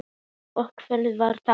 Ókei og hvernig var það?